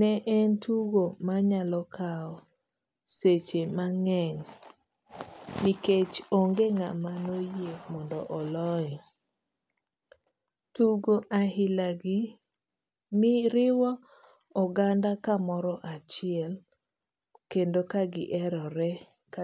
ne en tugo manyalokao seche mang'eny nikech onge ng'ama noyie mondo oloe. Tugo ailagi riwo oganda kamoro achiel kendo ka giherore ka.